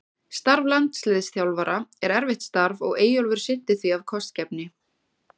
Starf landsliðsþjálfara er erfitt starf og Eyjólfur sinnti því af kostgæfni.